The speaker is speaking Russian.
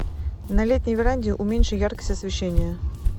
на летней веранде уменьши яркость освещения